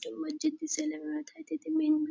तो मस्जिद दिसायला --